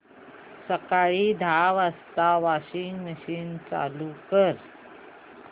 सकाळी दहा वाजता वॉशिंग मशीन चालू कर